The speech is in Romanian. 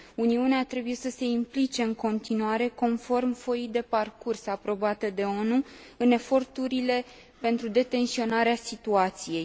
Uniunea trebuie să se implice în continuare, conform foii de parcurs aprobate de ONU, în eforturile pentru detensionarea situației.